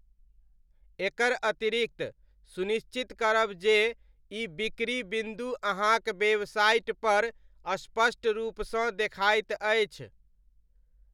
एकर अतिरिक्त, सुनिश्चित करब जे ई बिक्री बिन्दु अहाँक वेबसाइटपर स्पष्ट रूपसँ देखाइत अछि।